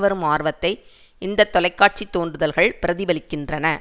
வரும் ஆர்வத்தை இந்த தொலை காட்சி தோன்றுதல்கள் பிரதிபலிக்கின்றன